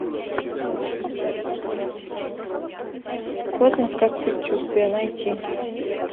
космос как предчувствие найти